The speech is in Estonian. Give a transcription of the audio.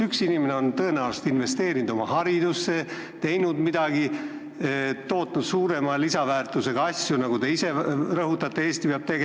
Üks inimene on tõenäoliselt investeerinud oma haridusse, teinud midagi väga vajalikku, tootnud suurema lisandväärtusega toodangut, mille vajalikkust Eestis te ise ka rõhutate.